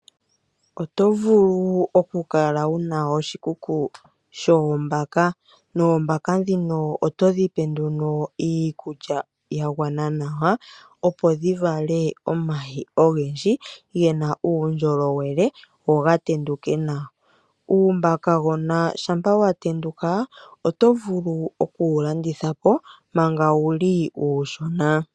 Oto vulu oku Kala wuna oshikuku shoOmbaka, noOmbaka dhino oto dhipe nduno Iikulya ya gwana nawa, Opo dhi vale omayi ogendji gena uundjolowele go gatenduke nawa .Uumbakagona shampa wa tenduka, Oto vulu okuwu landitha po manga wuli uushuna.